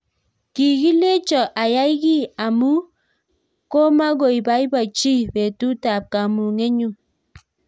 Kikilechoo ayai kiy ambuch komakoiabaibachii petut ap kamunget nyuu